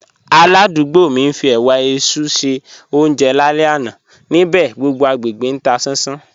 Álàdùúgbò mi ń fí ẹ̀wà èéṣú ṣe ọúnjẹ láàlẹ́ àná, níbẹ̀ gbogbo agbegbé tà sán sán.